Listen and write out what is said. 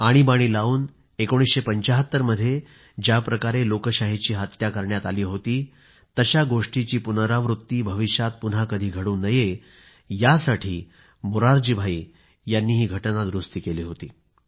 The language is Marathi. आणीबाणी लाऊन 1975 मध्ये ज्याप्रकारे लोकशाहीची हत्या करण्यात आली होती तशा गोष्टीची पुनरावृत्ती भविष्यात पुन्हा कधी घडू नये यासाठी मोरारजी भाई यांनी ही घटना दुरूस्ती केली होती